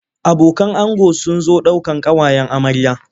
Abokan ango sun zo daukan ƙawayen amarya.